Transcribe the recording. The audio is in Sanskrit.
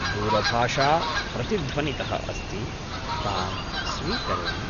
दूरभाषा प्रतिध्वनितः अस्ति, तां स्वीकरोमि।